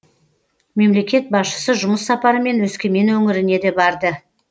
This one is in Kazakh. мемлекет басшысы жұмыс сапарымен өскемен өңіріне де барды